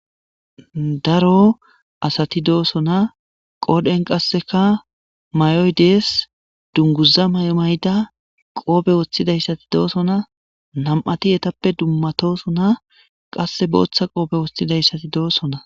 Daro asati doosona qoodhen qasseka may'oy dees dunguza maymayda qoobe woththidayssati doosona nam'ati yetappe dummatosona qasse booththa qoobe woththidayssati doosona.